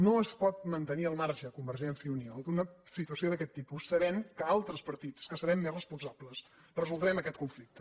no es pot mantenir al marge convergència i unió d’una situació d’aquest tipus sabent que altres partits que serem més responsables resoldrem aquest conflicte